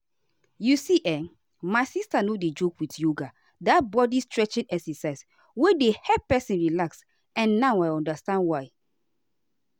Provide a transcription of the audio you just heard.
you see[um]my sister no dey joke with yoga that body-stretching exercise wey dey help person relax and now i understand why